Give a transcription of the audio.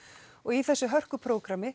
og í þessu